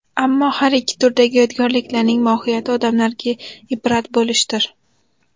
Ammo har ikki turdagi yodgorliklarning mohiyati odamlarga ibrat bo‘lishdir.